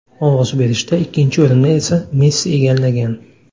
Ovoz berishda ikkinchi o‘rinni esa Messi egallagan.